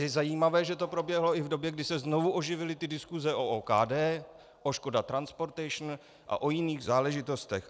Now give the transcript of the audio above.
Je zajímavé, že to proběhlo i v době, kdy se znovu oživily ty diskuse o OKD, o Škoda Transportation a o jiných záležitostech.